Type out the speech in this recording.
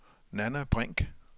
Nanna Brink